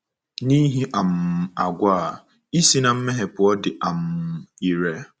N’ihi um àgwà a, ị si na mmehie pụọ dị um ire.